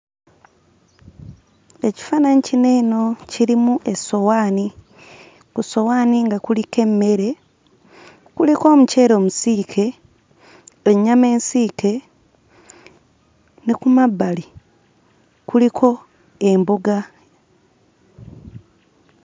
Ekifaananyi kino eno kirimu essowaani. Ku ssowaani nga kuliko emmere. Kuliko omuceere omusiike, ennyama ensiike, ne ku mabbali kuliko emboga.